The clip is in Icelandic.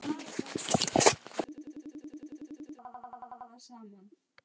Í löngu samtali um þetta tímabil skýrði ég þeim Erni